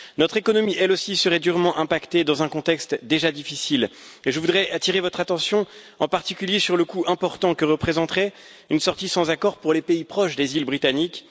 Notre économie, elle aussi, serait durement impactée dans un contexte déjà difficile et je voudrais attirer votre attention, en particulier, sur le coût important que représenterait une sortie sans accord pour les pays proches des îles britanniques.